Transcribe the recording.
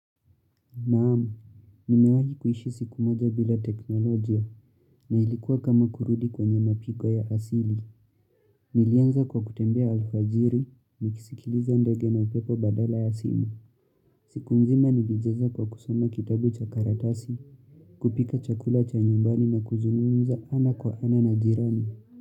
Naamu, nimewahi kuishi siku moja bila teknolojia na ilikuwa kama kurudi kwenye mapiko ya asili. Nilianza kwa kutembea alfajiri, nikisikiliza ndege na upepo badala ya simu. Siku mzima nilijeza kwa kusoma kitabu cha karatasi, kupika chakula cha nyumbani na kuzungumza ana kwa ana na jirani.